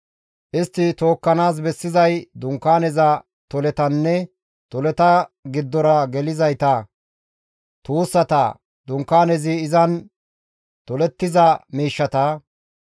Istti tookkanaas bessizay Dunkaaneza toletanne toleta giddora gelizayta, tuussata; Dunkaanezi izan tolettiza miishshata.